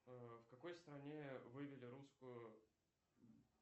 в какой стране вывели русскую